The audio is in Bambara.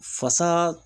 Fasa